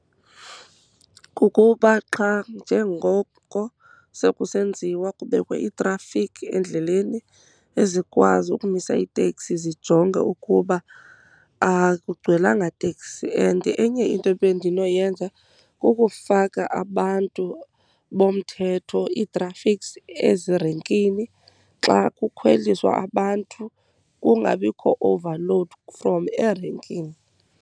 Kukuba xa njengoko sekusenziwa kubekwe iitrafikhi endleleni ezikwazi ukumisa itekisi zijonge ukuba akugcwelanga teksi. And enye into ebendinoyenza kukufaka abantu bomthetho, ii-traffics, ezirenkini xa kukhweliswa abantu kungabikho overload from erenkini.